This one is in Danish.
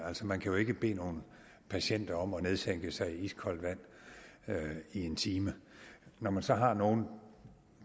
man kan jo ikke bede nogen patienter om at nedsænke sig i iskoldt vand i en time når man så har nogle